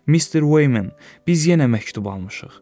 Mister Wayman, biz yenə məktub almışıq.